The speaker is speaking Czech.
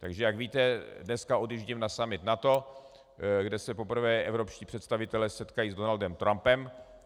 Takže jak víte, dneska odjíždím na summit NATO, kde se poprvé evropští představitelé setkají s Donaldem Trumpem.